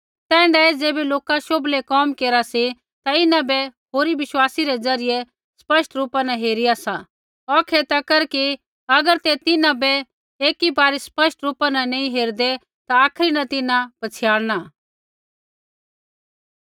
तैण्ढाऐ ज़ैबै लोका शोभलै कोम केरा सी ता इन्हां बै होरी विश्वासी रै ज़रियै स्पष्ट रूपा न हेरिया सी होर औखै तक कि अगर ते तिन्हां बै एकी बारी स्पष्ट रूपा न नैंई हेरदै ता आखरी न तिन्हां पछ़ियाणना